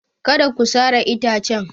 Kada ku sare itacen!